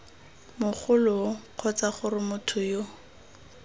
mogoloo kgotsa gore motho yo